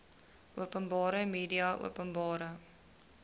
openbare media openbare